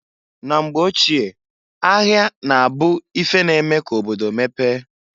Na mgbe ochie, ahịa na-abu ife na-eme ka obodo mepee.